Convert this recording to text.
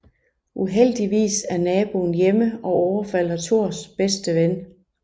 Uheldigvis er naboen hjemme og overfalder Thors bedste ven